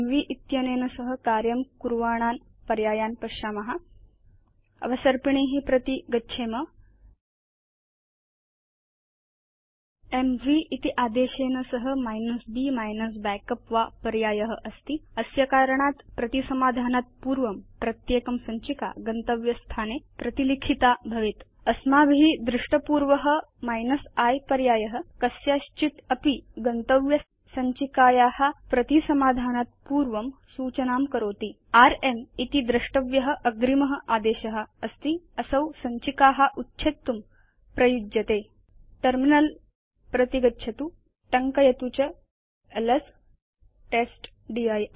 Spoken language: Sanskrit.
इत्यनेन सह कार्यं कुर्वाणान् पर्यायान् पश्याम अवसर्पिणी प्रति गच्छेम एमवी इति आदेशेन सह b -backup वा पर्याय अस्ति अस्य कारणात् प्रतिसमाधानात् पूर्वं प्रत्येकं सञ्चिका गन्तव्ये स्थाने प्रतिलिखिता भवेत् अस्माभि दृष्टपूर्व i पर्याय कस्याश्चित् अपि गन्तव्य सञ्चिकाया प्रतिसमाधानात् पूर्वं सूचनां करोति र्म् इति द्रष्टव्य अग्रिम आदेशअस्ति असौ सञ्चिका उच्छेत्तुम् उपयुज्यते टर्मिनल प्रति गच्छतु टङ्कयतु च एलएस टेस्टदिर्